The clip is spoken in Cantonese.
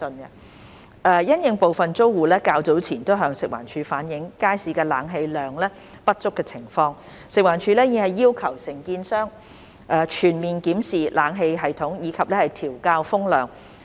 因應部分租戶較早前向食環署反映街市冷氣量不足的情況，食環署已要求承建商全面檢視冷氣系統，以及調校風量。